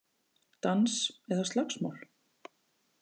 Dans eða slagsmál